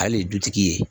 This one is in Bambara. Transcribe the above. Ale de ye dutigi ye